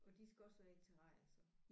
Og de skal også være i et terrarie så